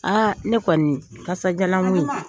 ne kɔni kasadiyalan ko